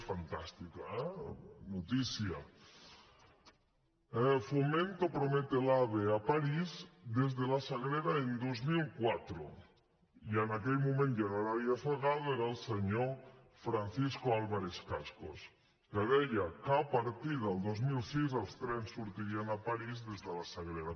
és fantàstica eh notícia fomento promete el ave a parís desde la sagrera en dos mil quatre i en aquell moment ja no era arias salgado era el senyor francisco álvarez cascos que deia que a partir del dos mil sis els trens sortirien a parís des de la sagrera